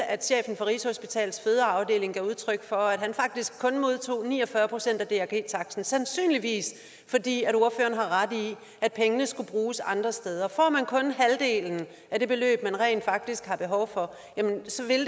at chefen for rigshospitalets fødeafdeling gav udtryk for at han faktisk kun modtog ni og fyrre procent af drg taksten sandsynligvis i fordi pengene skulle bruges andre steder får man kun halvdelen af det beløb man rent faktisk har behov for jamen så vil